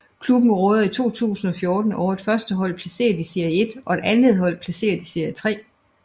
Klubben råder i 2014 over et førstehold placeret i serie 1 og et andethold placeret i serie 3